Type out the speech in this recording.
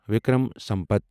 Vikram Sampath